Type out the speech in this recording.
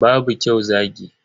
Babu kyau zagi.